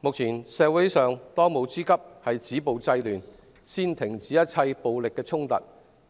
目前，當務之急是止暴制亂，先停止一切暴力衝突，